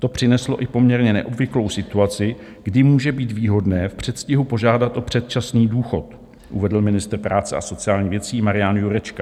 To přineslo i poměrně neobvyklou situaci, kdy může být výhodné v předstihu požádat o předčasný důchod, uvedl ministr práce a sociálních věcí Marian Jurečka.